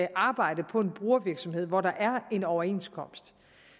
arbejde på en brugervirksomhed hvor der er en overenskomst